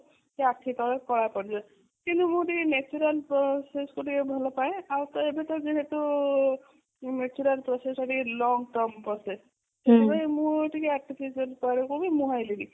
କି ଆଖି ତଳ କଳା ପଡିବ କାରଣ ମୁଁ ଟିକେ natural process କୁ ଟିକେ ଭଲ ପାଏ ଆଉ ଏବେ ତ ଯେହେତୁ natural process ଟିକେ long term process ସେଥିପାଇଁ ମୁଁ ଟିକେ artificial ମୁହଁ ହେଲେ ବି